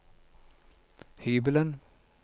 hybelen